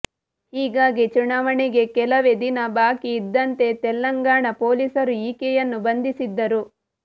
ಹೀಗಾಗಿ ಚುನಾವಣೆಗೆ ಕೆಲವೇ ದಿನ ಬಾಕಿ ಇದ್ದಂತೆ ತೆಲಂಗಾಣ ಪೊಲೀಸರು ಈಕೆಯನ್ನು ಬಂಧಿಸಿದ್ದರು